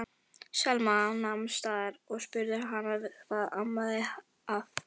Selma nam staðar og spurði hana hvað amaði að.